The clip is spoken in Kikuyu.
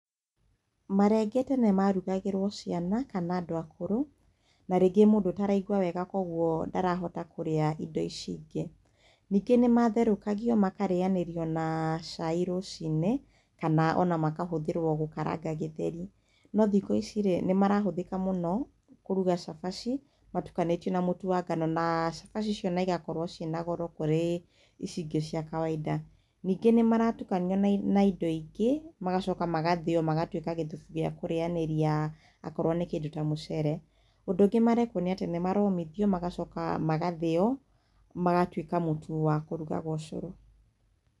Marenge tene marugagĩrwo ciana kana andũ akũrũ, na rĩngĩ mũndũ ũtaraigua wega, koguo ndarahota kũrĩa indo ici ingĩ. Ningĩ nĩ matherũkagio makarĩyanĩrio na cai rũcinĩ kana ona makahũthĩrwo gũkaranga Gĩthweri. No thikũ ici rĩ nĩ marahũthĩka mũno kũruga cabaci matukanĩtio na mũtu wa ngano na cabaci icio na ĩgakorwo ci na goro kũrĩ ici ingĩ cia kawaida. Ningĩ nĩ maratukanio na indo ingĩ magacoka magathĩyo magatuĩka gĩthubu gĩa kũrĩyanĩria akorwo nĩ kĩndũ ta mũcere. Ũndũ ũngĩ marekwo nĩ atĩ nĩ maromithio magacoka magathĩyo magatuĩka mũtu wa kũrugaga ũcũrũ.